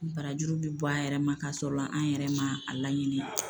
Ni barajuru bi bɔ an yɛrɛ ma k'a sɔrɔ an yɛrɛ ma a laɲini